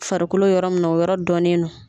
Farikolo yɔrɔ min no o yɔrɔ dɔnnen do.